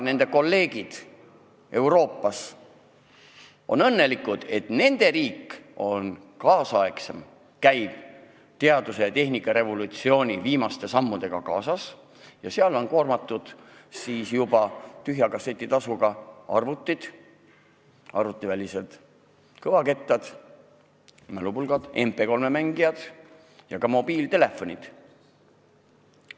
Kolleegid Euroopas on aga õnnelikud, sest nende riik käib teaduse ja tehnika revolutsiooni viimaste sammudega kaasas, seal on tühja kasseti tasuga koormatud arvutid, arvutivälised kõvakettad, mälupulgad, MP3-mängijad ja ka mobiiltelefonid.